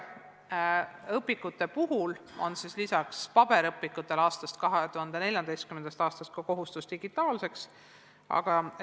Õpikute puhul kehtib lisaks paberõpikutele 2014. aastast ka kohustus esitada materjal digitaalselt.